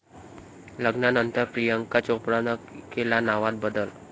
लग्नानंतर प्रियांका चोप्रानं केला नावात बदल